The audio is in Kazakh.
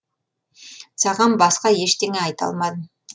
саған басқа ештеңе айта алмадым